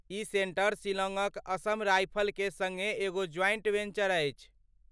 ई centre शिलांगक असम राइफलके सङ्गे एगो ज्वाइंट वेंचर अछि।